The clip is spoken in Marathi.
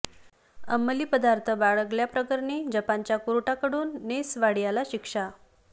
अंमली पदार्थ बाळगल्या प्रकरणी जपानच्या कोर्टाकडून नेस वाडियाला शिक्षा